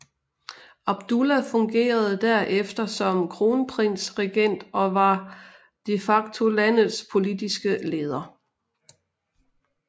Abdullah fungerede der efter som kronprinsregent og var de facto landets politiske leder